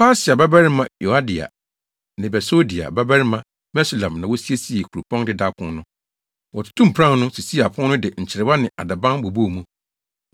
Paseah babarima Yoiada ne Besodeia babarima Mesulam na wosiesiee Kuropɔn Dedaw Pon no. Wɔtotoo mpuran no, sisii apon no de nkyerewa ne adaban bobɔɔ mu.